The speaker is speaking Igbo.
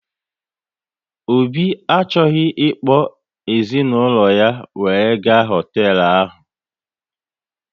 Obi achọghị ịkpọ ezinaụlọ ya were gaa n'hotelu ahụ